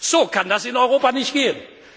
So kann das in Europa nicht